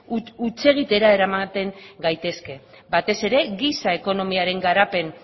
hutsegitera eramaten gaitezke batez ere giza ekonomiaren garapen